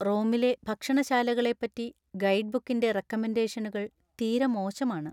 റോമിലെ ഭക്ഷണശാലകളെപ്പറ്റി ഗൈഡ്ബുക്കിന്‍റെ റെക്കമെൻഡേഷനുകൾ തീരെ മോശമാണ്.